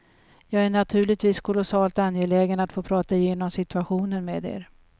Jag är naturligtvis kolossalt angelägen att få prata igenom situationen med er.